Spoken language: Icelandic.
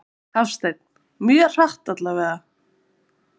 Hafsteinn: Mjög hratt allavega?